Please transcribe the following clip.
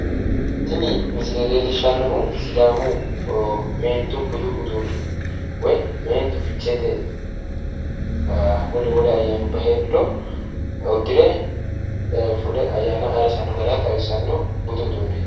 Tini misile leellishanohu meentu budu uduune udire babbaxino garinni umu dananchonsa loosire biifinottanna, ficheete barra ayirrisanni nootta xawisano